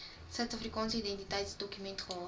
suidafrikaanse identiteitsdokument gehad